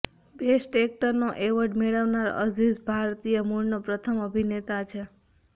best એક્ટરનો award મેળવનારા અઝીઝ ભારતીય મૂળનો પ્રથમ અભિનેતા છે